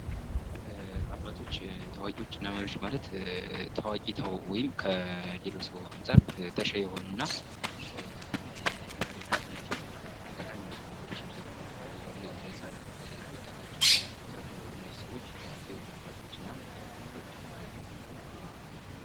አባቶች ታዋቂዎች እና መሪዎች ማለትታዎቂ ሰው ወይም ከሌሎች ሰው አንፃር ተሸይ የሆኑና ለሃገራችን ጠቃሚ ምክሮች የሚሰጡ እንደዚህ ለህፃናት፣ ለወጣቶች እነዚህ ሰዎች ታዋቂ ወይም አባቶችና አባቶችና ይባላል።